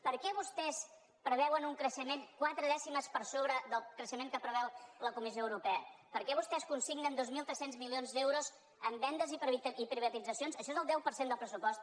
per què vostès preveuen un creixement quatre dècimes per sobre del creixement que preveu la comissió europea per què vostès consignen dos mil tres cents milions d’euros en vendes i privatitzacions això és el deu per cent del pressupost